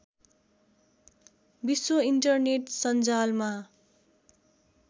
विश्व इन्टरनेट सञ्जालमा